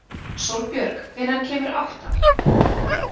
Sólbjörg, hvenær kemur áttan?